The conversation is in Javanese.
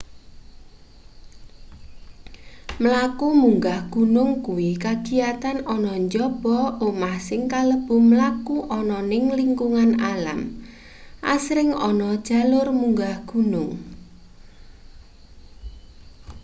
mlaku munggah gunung kuwi kagiyatan ana njaba omah sing kalebu mlaku ana ning lingkungan alam asring ana jalur munggah gunung